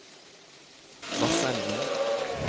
Vassenden